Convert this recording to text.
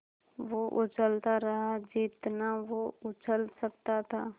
वो उछलता रहा जितना वो उछल सकता था